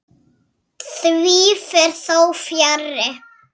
Því fer þó fjarri.